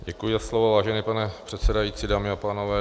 Děkuji za slovo, vážený pane předsedající, dámy a pánové.